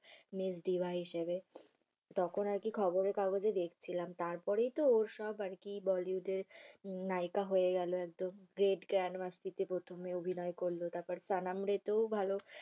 miss diva হিসেবে। তখন আরকি খবরের কাগজে দেখছিলাম, তারপরেই তো ওসব আরকি bollywood এ নায়িকা হয়ে গেলো একদম। great grand masti তে প্রথম অভিনয় করলো তারপর sanam re তেও ভালো